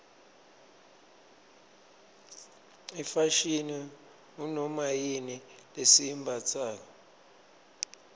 ifashini ngunomayini lesiyimbatsalo